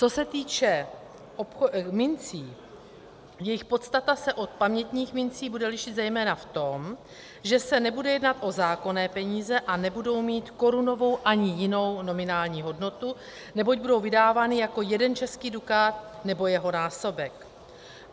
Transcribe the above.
Co se týče mincí, jejich podstata se od pamětních mincí bude lišit zejména v tom, že se nebude jednat o zákonné peníze a nebudou mít korunovou ani jinou nominální hodnotu, neboť budou vydávány jako jeden český dukát nebo jeho násobek.